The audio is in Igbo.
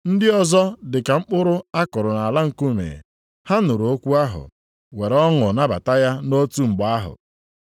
Ndị ọzọ dị ka mkpụrụ a kụrụ nʼala nkume. Ha nụrụ okwu ahụ, were ọṅụ nabata ya nʼotu mgbe ahụ.